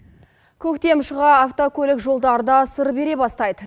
көктем шыға автокөлік жолдар да сыр бере бастайды